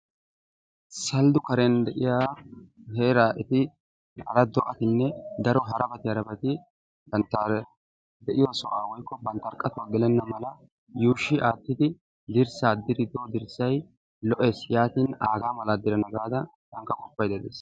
Salado karen de'iya heera eti hara do'atinne daro harabati harabati de'iyo sohuwa woykko banttaa qatuwa gelenna mala yuushshi aattidi dirssaa diriddo dirssay lo'ees yaatin aaga mala diranna gaada tankka qoppaydda days.